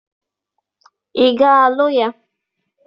Ị ga-alụ ya!